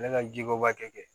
Ne ka jiko b'a kɛ